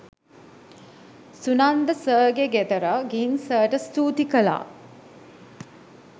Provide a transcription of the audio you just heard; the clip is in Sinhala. සුනන්ද සර්ගේ ගෙදර ගිහින් සර්ට ස්තූති කළා.